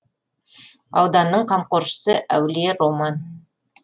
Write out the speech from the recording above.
ауданның қамқоршысы әулие роман